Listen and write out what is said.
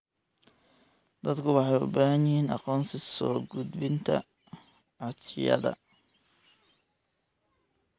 Dadku waxay u baahan yihiin aqoonsi soo gudbinta codsiyada.